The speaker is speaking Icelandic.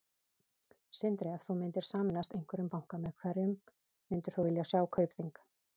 Sindri: Ef þú myndir sameinast einhverjum banka, með hverjum myndir þú vilja sjá Kaupþing?